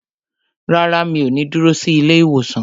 Rárá, mi ò ní dúró sí ilé ìwòsàn